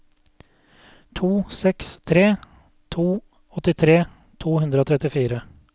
to seks tre to åttitre to hundre og trettifire